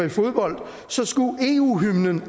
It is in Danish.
i fodbold skulle eu hymnen